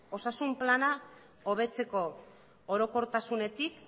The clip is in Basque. osasun plana hobetzeko orokortasunetik